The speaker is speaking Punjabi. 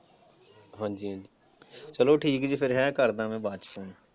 ਹਾਂਜੀ, ਚਲੋ ਠੀਕ ਜੇ ਫਿਰ ਹੈਂ, ਕਰਦਾ ਮੈਂ ਬਾਅਦ ਚ।